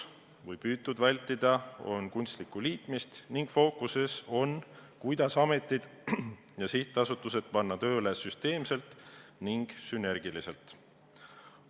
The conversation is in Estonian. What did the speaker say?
On püütud vältida kunstlikku liitmist ning fookuses on, kuidas ametid ja sihtasutused panna tööle süsteemselt ning sünergiliselt.